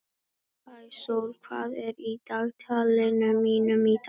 Sæsól, hvað er í dagatalinu mínu í dag?